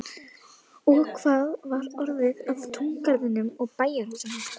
Og hvað var orðið af túngarðinum og bæjarhúsunum?